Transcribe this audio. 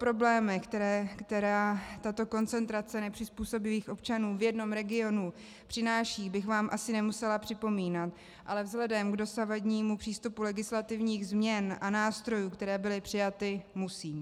Problémy, které tato koncentrace nepřizpůsobivých občanů v jednom regionu přináší, bych vám asi nemusela připomínat, ale vzhledem k dosavadnímu přístupu legislativních změn a nástrojů, které byly přijaty, musím.